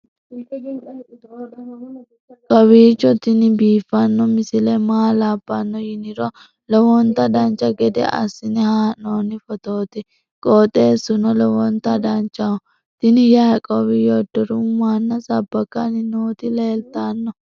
kowiicho tini biiffanno misile maa labbanno yiniro lowonta dancha gede assine haa'noonni foototi qoxeessuno lowonta danachaho. tini yaiqoobi yodoruhu mannaho sabbakanni noti leeltanno